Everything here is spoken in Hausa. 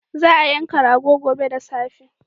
Za a yanka rago gobe da safe.